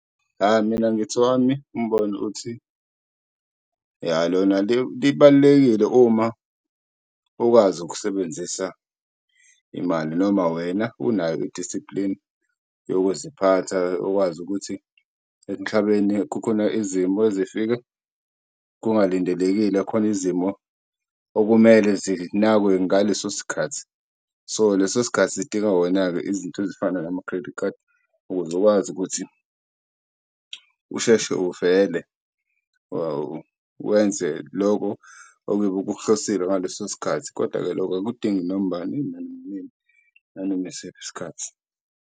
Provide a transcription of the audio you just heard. Mina ngithi, owami umbono uthi, lona libalulekile uma ukwazi ukusebenzisa imali noma wena unayo i-discipline yokuziphatha, ukwazi ukuthi emhlabeni kukhona izimo ezifike kungalindelekile, khona izimo okumele zinakwe ngaleso sikhathi. So, leso sikhathi sidinga wona-ke izinto ezifana nama-credit card ukuze ukwazi ukuthi usheshe uvele wenze loko okuyobe kukuhlosile ngaleso sikhathi. Kodwa-ke lokho akudingi noma ubani noma inini nanoma yisiphi isikhathi.